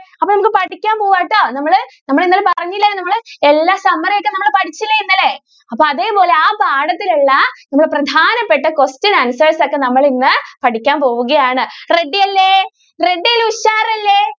അപ്പോ നമ്മക്ക് പഠിക്കാൻ പോവാട്ടോ. നമ്മൾ നമ്മൾ ഇന്നലെ പറഞ്ഞില്ലെ നമ്മൾ എല്ലാ summary ഒക്കെ നമ്മൾ പഠിച്ചില്ലേ ഇന്നലെ? അപ്പൊ അതേ പോലെ ആ പാഠത്തിൽ ഉള്ള പ്രധാനപ്പെട്ട question answers ഒക്കെ നമ്മൾ ഇന്ന് പഠിക്കാൻ പോവുകയാണ് ready അല്ലെ? ready അല്ലേ ഉഷാറല്ലെ?